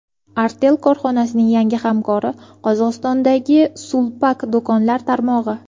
Artel korxonasining yangi hamkori - Qozog‘istondagi Sulpak do‘konlar tarmog‘i.